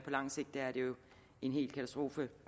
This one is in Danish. lang sigt er det jo en hel katastrofe